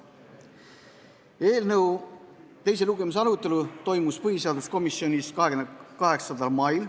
Eelnõu teise lugemise arutelu toimus põhiseaduskomisjonis 28. mail.